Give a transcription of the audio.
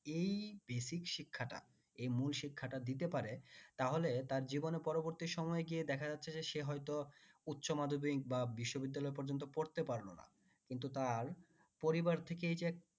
এই basic শিক্ষাটা এ মূল শিক্ষাটা দিতে পারে তাহলে তার জীবনে পরবর্তী সময় গিয়ে দেখা যাচ্ছে যে সে হয়ত উচ্চমাধ্যমিক বা বিশ্ববিদ্যালয় পর্যন্ত পড়তে পারলো না কিন্তু তার পরিবার থেকেই যে